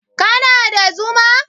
kana da Zuma?